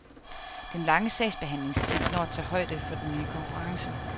Den lange sagsbehandlingstid når at tage højde for den nye konkurrence.